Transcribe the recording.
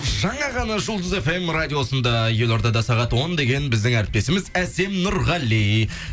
жаңа ғана жұлдыз фм радиосында елордада сағат он деген біздің әріптесіміз әсем нұрғали